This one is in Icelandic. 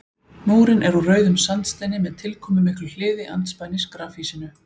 Múrinn er úr rauðum sandsteini með tilkomumiklu hliði andspænis grafhýsinu.